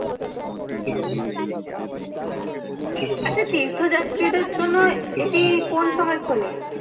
আচ্ছা তীর্থ যাত্রীদেড় জন্য এটি কোন সময় খোলে?